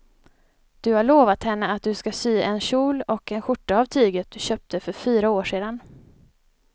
Du har lovat henne att du ska sy en kjol och skjorta av tyget du köpte för fyra år sedan.